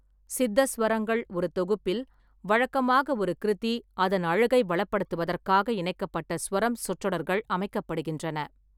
சித்தஸ்வரங்கள் ஒரு தொகுப்பில், வழக்கமாக ஒரு கிருத்தி, அதன் அழகை வளப்படுத்துவதற்காக இணைக்கப்பட்ட சுவரம் சொற்றொடர்கள் அமைக்கப்படுகின்றன.